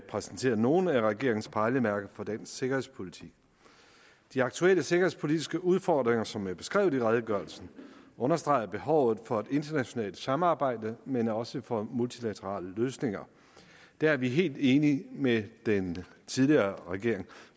præsentere nogle af regeringens pejlemærker for dansk sikkerhedspolitik de aktuelle sikkerhedspolitiske udfordringer som er beskrevet i redegørelsen understreger behovet for et internationalt samarbejde men også for multilaterale løsninger der er vi helt enige med den tidligere regering